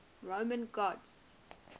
roman gods